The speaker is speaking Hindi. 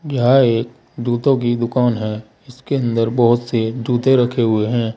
यह जूते की दुकान है इसके अंदर बहुत से जूते रखे हुए हैं।